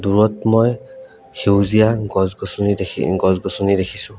দুৰত মই সেউজীয়া গছ-গছনি দেখি গছ-গছনি দেখিছোঁ।